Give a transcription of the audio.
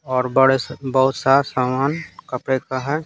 और बड़े बहुत सा सामान कपड़े का है।